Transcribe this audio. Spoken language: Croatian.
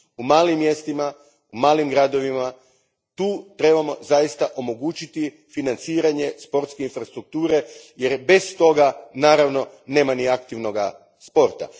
U malim mjestima, u malim gradovima, tu trebamo zaista omogućiti financiranje sportske infrastrukture jer bez toga, naravno, nema ni aktivnog sporta.